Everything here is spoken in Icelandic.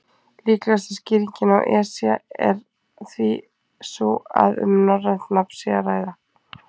Líklegasta skýringin á Esja er því sú að um norrænt nafn sé að ræða.